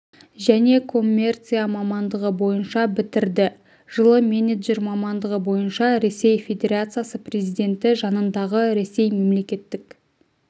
және коммерция мамандығы бойынша бітірді жылы менеджер мамандығы бойынша ресей федерациясы президенті жанындағы ресей мемлекеттік